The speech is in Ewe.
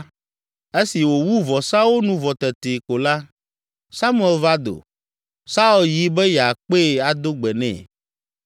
Esi wòwu vɔsawo nu vɔ tetee ko la, Samuel va do. Saul yi be yeakpee ado gbe nɛ.